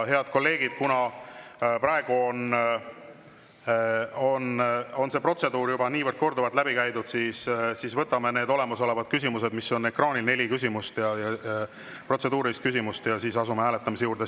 Head kolleegid, kuna praegu on see protseduur juba korduvalt läbi käidud, siis võtame need olemasolevad küsimused, mis on ekraanil, neli protseduurilist küsimust, ja siis asume hääletamise juurde.